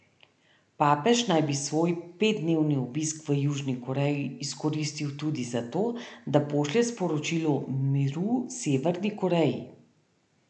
Papež naj bi svoj petdnevni obisk v Južni Koreji izkoristil tudi za to, da pošlje sporočilo miru Severni Koreji.